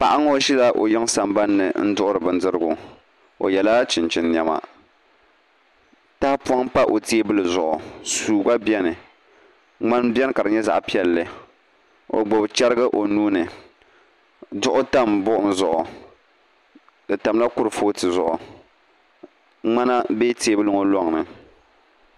Paɣa ŋo ʒila o yiŋ sambanni n duɣuri bindirigu o yɛla chinchini niɛma tahapoŋ n pa o teebuli zuɣu suu gba bɛni ŋmani buni ka di nyɛ zaɣ piɛlli o gbubi chɛrigi o nuuni duɣu tam buɣum zuɣu di tamla kurifooti zuɣu ŋmana bɛ teebuli ŋo loŋni